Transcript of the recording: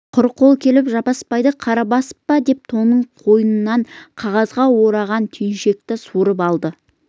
құр қол келіп жаппасбайды қара басып па деп тонының қойнынан қағазға ораған түйіншекті суырып алды